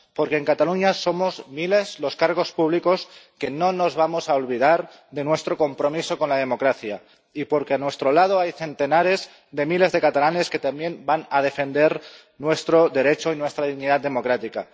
Porque en Cataluña somos miles los cargos públicos que no nos vamos a olvidar de nuestro compromiso con la democracia y porque a nuestro lado hay centenares de miles de catalanes que también van a defender nuestro derecho y nuestra dignidad democrática.